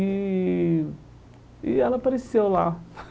E e ela apareceu lá.